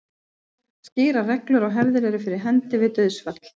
Skýrar reglur og hefðir eru fyrir hendi við dauðsfall.